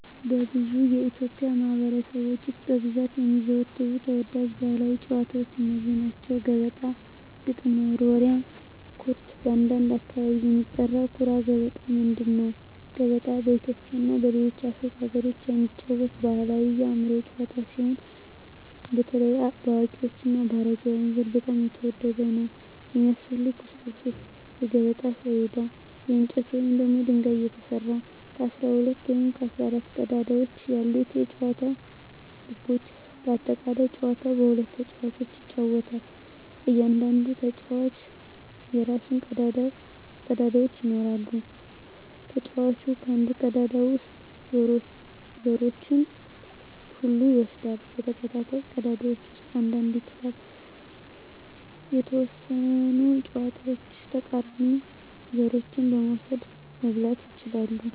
በብዙ የኢትዮጵያ ማኅበረሰቦች ውስጥ በብዛት የሚዘወተሩ ተወዳጅ ባሕላዊ ጨዋታዎች እነዚህ ናቸው፦ ገበጣ ግጥም መወርወሪያ / ኩርት (በአንዳንድ አካባቢ የሚጠራ) ኩራ ገበጣ ምንድን ነው? ገበጣ በኢትዮጵያ እና በሌሎች የአፍሪካ አገሮች የሚጫወት ባሕላዊ የአእምሮ ጨዋታ ሲሆን፣ በተለይ በአዋቂዎች እና በአረጋውያን ዘንድ በጣም የተወደደ ነው። የሚያስፈልጉ ቁሳቁሶች የገበጣ ሰሌዳ: ከእንጨት ወይም ከድንጋይ የተሰራ፣ 12 ወይም 14 ቀዳዳዎች ያሉት የጨዋታው ህጎች (በአጠቃላይ) ጨዋታው በሁለት ተጫዋቾች ይጫወታል። እያንዳንዱ ተጫዋች የራሱን ቀዳዳዎች ይኖራል። ተጫዋቹ ከአንድ ቀዳዳ ውስጥ ዘሮቹን ሁሉ ይወስዳል እና በተከታታይ ቀዳዳዎች ውስጥ አንድ አንድ ይጥላል። . በተወሰኑ ሁኔታዎች የተቃራኒውን ዘሮች መውሰድ (መብላት) ይችላል።